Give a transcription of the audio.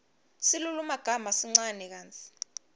silulumagama sincane kantsi